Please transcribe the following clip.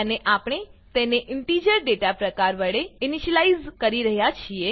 અને આપણે તેને ઇન્ટીજર ડેટા પ્રકાર વડે ઈનીશલાઈઝ કરી રહ્યા છીએ